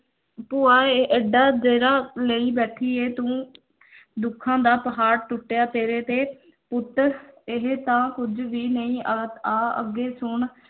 ਭੂਆ ਏ ਏਡਾ ਜੇਰਾ ਲਈ ਬੈਠੀ ਏ ਤੂੰ ਦੁੱਖਾਂ ਦਾ ਪਾਹਾੜ ਟੁੱਟਿਆ ਤੇਰੇ ਤੇ ਪੁੱਤ ਇਹ ਤਾਂ ਕੁੱਝ ਵੀ ਨਹੀਂ ਆਹ ਆਹ ਅੱਗੇ ਸੁਣ